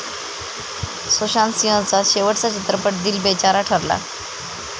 सुशांत सिंहचा शेवटचा चित्रपट दिल बेचारा ठरला.